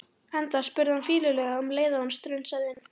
Enda spurði hann fýlulega um leið og hann strunsaði inn